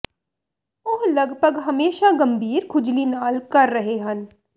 ਉਹ ਲਗਭਗ ਹਮੇਸ਼ਾ ਗੰਭੀਰ ਖੁਜਲੀ ਨਾਲ ਕਰ ਰਹੇ ਹਨ